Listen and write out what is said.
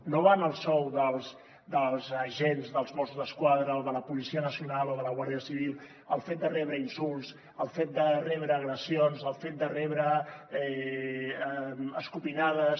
no va en el sou dels agents dels mossos d’esquadra o de la policia nacional o de la guàrdia civil el fet de rebre insults el fet de rebre agressions el fet de rebre escopinades